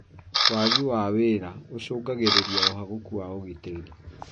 Wagi wa wira ũcũngagĩrĩria ũhagũku wa ũgitiri